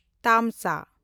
ᱛᱟᱢᱥᱟ